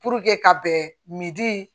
ka bɛn